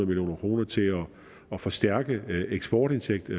million kroner til at forstærke eksportindtægten